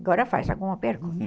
Agora faz alguma pergunta.